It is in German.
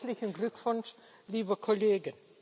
Herzlichen Glückwunsch, liebe Kollegen.